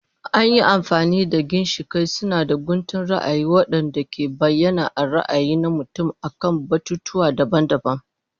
An yi amfani da ginshiƙai suna da guntun ra'ayi waɗanda ke bayyana ra'ayi na mutum akan batutuwa daban-daban.